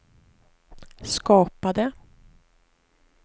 skapade